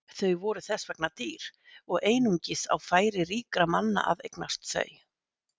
Þau voru þess vegna dýr og einungis á færi ríkra manna að eignast þau.